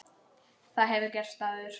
Það hefur gerst áður.